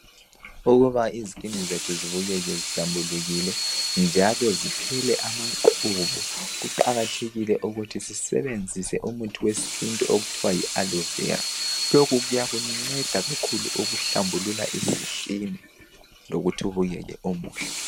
Ukuba izikini zethu zibukeke zihlambulukile njalo ziphele amaqhubu kuqakathekile ukuthi sisebenzise umuthi wesintu okuthiwa yi alo vera lokhu kuyakunceda kakhulu ukuhlambulula isikini lokuthi ubukeke umuhle